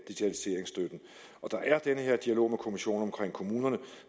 og der er denne dialog med kommissionen om kommunerne